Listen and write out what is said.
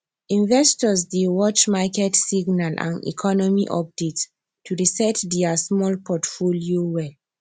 investor dey watch market signal and economy update to reset their small portfolio well